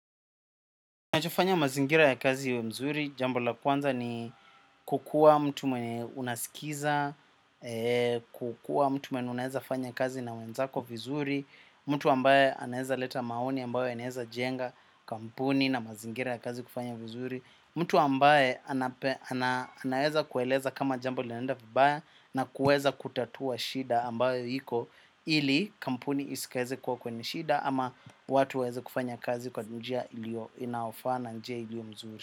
Nachofanya mazingira ya kazi iwe mzuri, jambo la kwanza ni kukua mtu mwenye unasikiza, kukua mtu mwenye unaeza fanya kazi na wenzako vizuri, mtu ambaye anaeza leta maoni ambayo yanaeza jenga kampuni na mazingira ya kazi kufanya vizuri, mtu ambaye anayeza kueleza kama jambo linaenda vibaya na kueza kutatua shida ambayo iko ili kampuni isikeze kuwa kwenye shida ama watu wseze kufanya kazi kwa njia ilio inaofaa na njia ilio mzuri.